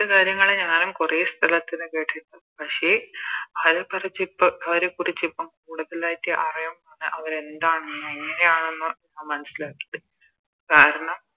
കാര്യങ്ങള് ഞാനും കൊറേ സ്ഥലത്തിന്ന് കേട്ടിട്ടിണ്ട് പക്ഷെ അവരെക്കുറിച്ചിപ്പം അവരെക്കുറിച്ചിപ്പം കൂടുതലായിറ്റ് അറിയാം അവരെന്താണെന്നോ എങ്ങനെയാണെന്നോ ഞാൻ മനസ്സിലാക്കിയത് കാരണം